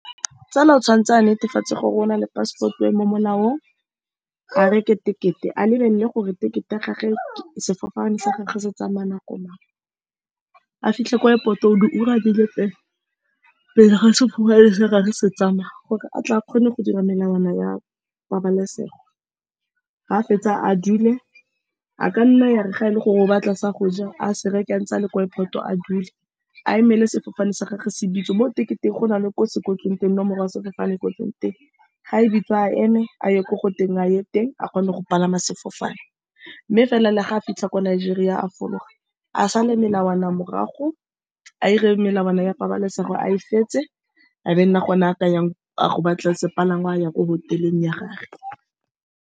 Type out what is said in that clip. Tsala, o tshwanetse a netefatse gore o na le passport-o e e mo molaong, a reke ticket-e, a lebelele gore ticket-e ya gagwe le sefofane sa gagwe se tsamaya nako mang. A fitlhe ko airport-o di ura di le pele ga sefofane gagwe se tsamaya, gore a tle a kgone go dira melawana ya pabalesego. Fa a fetsa, a dule. A ka nna ya re fa e le gore o batla sa go ja, a se reke antse a le ko airport-o, a dule a emele sefofane sa gagwe se bitswe. Mo ticket-eng go na le ko se kwetsweng teng nomoro ya sefofane, e kwetsweng teng. Fa e bitswa, a eme a ye ko goteng a ye teng, a kgone go palama sefofane, mme fela, le fa a fitlha ko Nigeria, a fologa a sale melawana morago. A 'ire melawana ya pabalesego a e fetse, e be nna gone a ka yang go ba tla sepalangwa a ya ko hotel-eng ya gagwe.